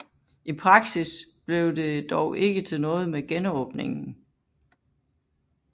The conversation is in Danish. I praksis blev det dog ikke til noget med genåbningen